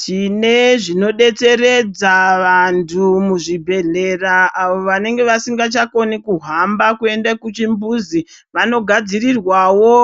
Tine zvinodetseredza vantu muzvibhedhlera avo vanenge vasingachagoni kuhamba kuende kuchimbuzi, vanogadzirirwawo